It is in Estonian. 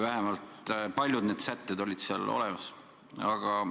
Paljud need sätted olid selles eelnõus olemas.